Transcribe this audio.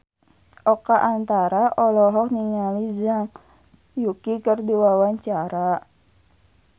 Oka Antara olohok ningali Zhang Yuqi keur diwawancara